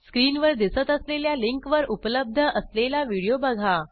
स्क्रीनवर दिसत असलेल्या लिंकवर उपलब्ध असलेला व्हिडिओ बघा